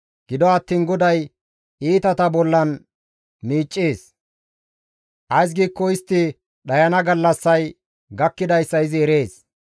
Gido attiin Goday iitata bollan miiccees; ays giikko istti dhayana gallassay gakkidayssa izi erees.